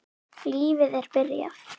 Lífið er byrjað.